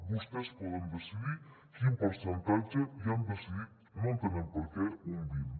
vostès poden decidir quin percentatge i han decidit no entenem per què un vint